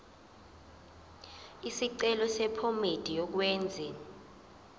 isicelo sephomedi yokwenze